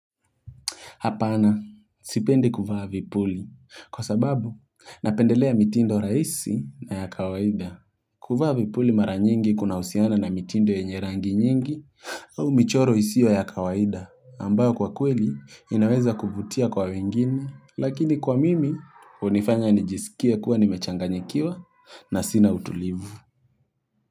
Hapana, sipendi kuvaa vipuli kwa sababu napendelea mitindo rahisi na ya kawaida. Kuvaa vipuli mara nyingi kuna husiana na mitindo yenye rangi nyingi au michoro isiyo ya kawaida ambayo kwa kweli inaweza kuvutia kwa wengine lakini kwa mimi hunifanya nijisikie kuwa nimechanganyikiwa na sina utulivu.